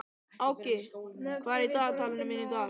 Áki, hvað er í dagatalinu mínu í dag?